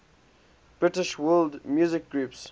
british world music groups